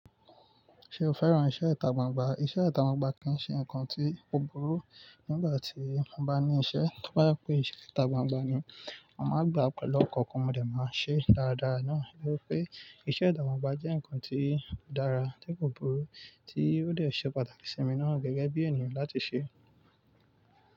Ṣé o fẹ́ràn iṣẹ́ ita gbangba? Iṣẹ́ ita gbangba kì í ṣe nǹkan tí ò burú nígbà tí mo bá ní isẹ́. To bá je pé iṣẹ́ ita gbangba ni, mo màá gbà á pẹ̀lú ọkan kan mo dè máa ṣe é dáradára náà. Bí ó pé iṣẹ́ ita gbangba jẹ́ ǹkan tí ó dára tí kò burú tí ó dè ṣe pàtàkì sí mi náà gẹ́gẹ́ bí ènìyàn láti ṣe é.